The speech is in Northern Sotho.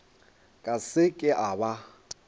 ka se ke a ba